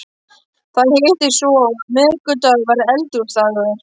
Það hittist svo á að miðvikudagur var Eldhúsdagur.